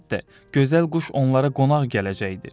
Əlbəttə, gözəl quş onlara qonaq gələcəkdir.